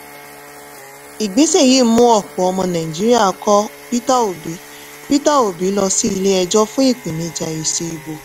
ìgbésẹ̀ yìí mú ọ̀pọ̀ ọmọ nàìjíríà kọ̀ ọ́ peter obi peter obi lọ sí ilé ẹjọ fún ìpènijà èsì ìbò.